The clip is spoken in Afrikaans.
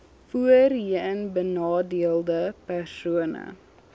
voorheen benadeelde persone